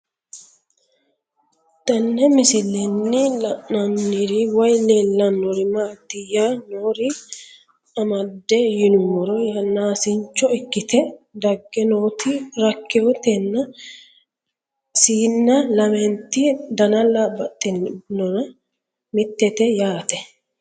Tenne misilenni la'nanniri woy leellannori maattiya noori amadde yinummoro yaannaasincho ikkitte dage nootti rakawoottenna siinna lamentti dannalla baxinnonna mittete yaatte